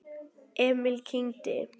Emil kyngdi.